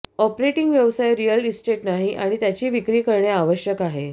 operating व्यवसाय real estate नाही आणि त्याची विक्री करणे आवश्यक आहे